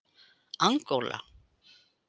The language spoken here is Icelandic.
Angóla